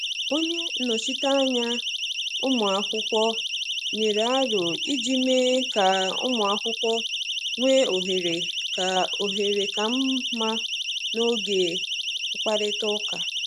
Onye nnọchiteanya um ụmụ akwụkwọ nyere aro iji mee ka ụmụ akwụkwọ nwee ohere ka ohere ka mma n’oge mkparịta ụka.